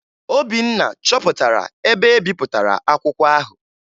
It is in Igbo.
Obinna chọpụtara ebe e bipụtara akwụkwọ ahụ